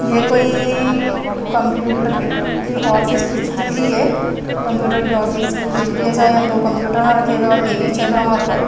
यह कोई कंप्यूटर की ऑफिस कुछ दिख रही है कंप्यूटर के ऑफिस कुछ दिख रही है ऐसा यहां कंप्यूटर ना रखे हुए और टी_वी चल रहा है वहां पर।